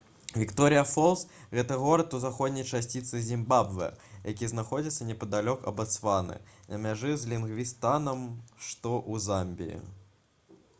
вікторыя фолс гэта горад у заходняй частцы зімбабвэ які знаходзіцца непадалёк ад батсваны на мяжы з лівінгстанам што ў замбіі